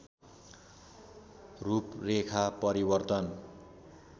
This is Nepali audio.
रूपरेखा परिवर्तन